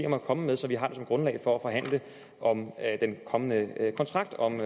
om at komme med så vi har den som grundlag for at forhandle om den kommende kontrakt om